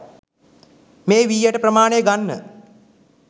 මේ වී ඇට ප්‍රමාණය ගන්න